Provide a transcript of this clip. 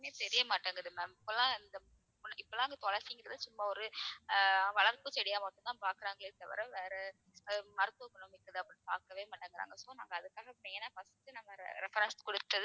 தெரியமாட்டேங்குது ma'am இப்ப எல்லாம் இந்த இப்ப எல்லாம் இந்த துளசி என்றது சும்மா ஒரு ஆஹ் வளர்ப்பு செடியா மட்டும்தான் பாக்குறாங்களே தவிர வேற அஹ் மருத்துவ குணம் மிக்கதா அப்படினு பாக்கவே மாட்டேங்குறாங்க so நாங்க அதுக்காக main ஆ first உ நாங்க re~ reference கொடுத்தது